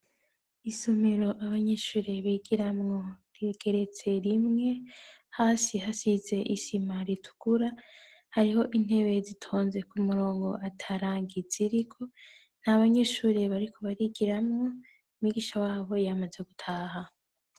Isomero abanyeshure bigiramwo rigeretse rimwe; hasi hasize isima ritukura, hariho intebe zitonze ku murongo ata rangi ziriko, nta banyeshure bariko barigiramwo, mwigisha wabo yamaze gutaha.